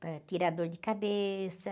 Para tirar dor de cabeça.